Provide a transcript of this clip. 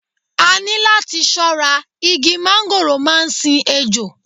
A ní láti ṣọ́ra, igi mángóròò máa ń sin ejò.